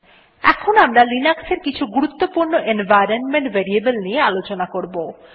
এখন আমরা লিনাক্সের কিছু গুরুত্বপূর্ণ এনভাইরনমেন্ট ভেরিয়েবল নিয়ে আলোচনা করব